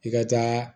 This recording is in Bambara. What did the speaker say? I ka taa